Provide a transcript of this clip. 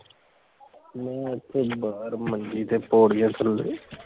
ਮੈਂ ਏਥੇ ਬਾਹਰ ਮੰਜੀ ਤੇ ਪੋੜੀਆਂ ਥੱਲੇ